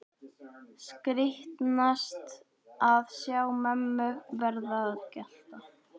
Skrítnast að sjá mömmu verða að gjalti.